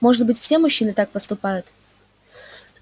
может быть все мужчины так поступают